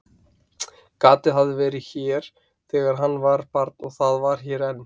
Gatið hafði verið hér þegar hann var barn og það var hér enn.